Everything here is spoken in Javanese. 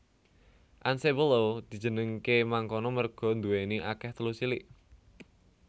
Anse Boileau dijenengké mangkono merga nduwèni akèh teluk cilik